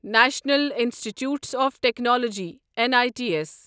national institutes of technology N I T S